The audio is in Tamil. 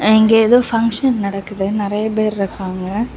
அங்கே ஏதோ ஃபங்ஷன் நடக்குது நெறய பேர் இருக்காங்க.